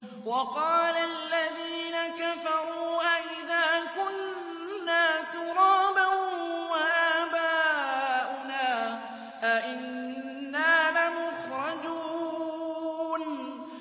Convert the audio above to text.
وَقَالَ الَّذِينَ كَفَرُوا أَإِذَا كُنَّا تُرَابًا وَآبَاؤُنَا أَئِنَّا لَمُخْرَجُونَ